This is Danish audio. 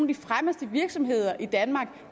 de fremmeste virksomheder i danmark